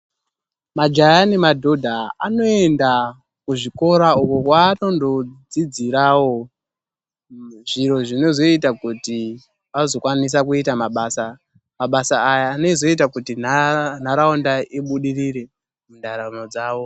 Majaha nemadhodha anoenda kuzvikora uko kwaanondodzidzirawo zviro zvinozoita kuti vazokwanisa kuita mabasa. Mabasa aya anozoita kuti nharaunda ibudirire mundaramo dzavo.